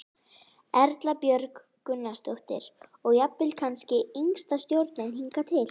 Erla Björg Gunnarsdóttir: Og jafnvel kannski yngsta stjórnin hingað til?